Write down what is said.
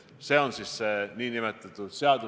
See annab inimesele täielikult vale signaali.